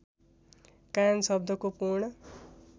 कान शब्दको पूर्ण